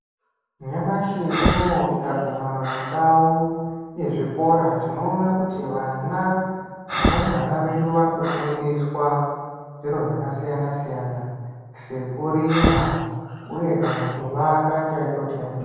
Nyamashi unou tikaguma mundau yezvikora tinoona kuti vana varumbwana vedu vari kufundiswa zviro zvakasiyana siyana sekurima uye kana kuvaka chaiko chaiko.